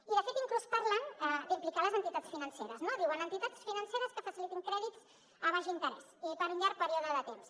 i de fet inclús parlen d’implicar les entitats financeres no diuen entitats financeres que facilitin crèdits a baix interès i per un llarg període de temps